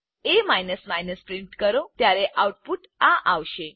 એ print કરો ત્યારે output આ આવશે